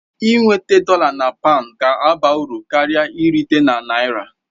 Ị nweta dọla na paụnd ga-abara uru karịa irite na naira